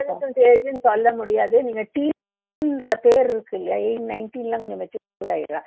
adolescence age னு சொல்ல முடியாது நீங்க teen ன்ற பேர் இருக்கு இல்லையா எ nineteen எல்லாம் கொஞ்சம் mature ஆயிடுறா